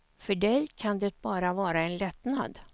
För dig kan det bara vara en lättnad.